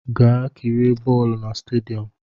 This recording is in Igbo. Gaa kirie bọọlụ na stadiọm!